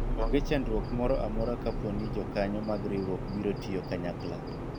onge chandruok moro amora kapo ni jokanyo mag riwruok biro tiyo kanyakla